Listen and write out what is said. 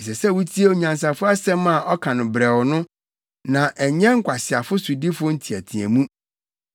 Ɛsɛ sɛ wotie onyansafo nsɛm a ɔka no brɛoo no na ɛnyɛ nkwaseafo sodifo nteɛteɛmu.